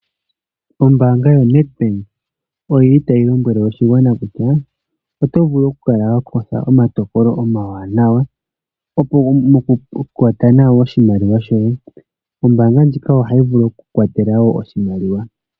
Ombaanga yoNEDBANK oyili tayi lombwele oshigwana kutya oto vulu okukutha omatokolo omawanawa moku kwata nawa oshimaliwa shoye ombaanga ndjika ohayi vulu wo okukukwatela oshimaliwa.